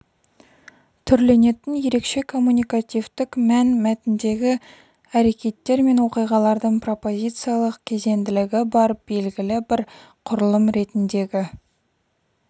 түрленетін ерекше коммуникативтік мәнмәтіндегі әрекеттер мен оқиғалардың пропозициялық кезеңділігі бар белгілі бір құрылым ретіндегі